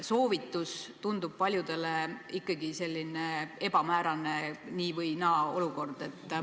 Soovitus tundub paljudele ikkagi selline ebamäärane nii-või-naa-olukord.